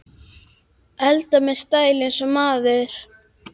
Eldar með stæl- eins og maður!